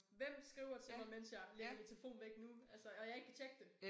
Hvem skriver til mig mens jeg lægger min telefon væk nu altså og jeg ikke kan tjekke det